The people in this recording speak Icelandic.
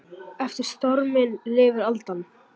Eftir storminn lifir aldan.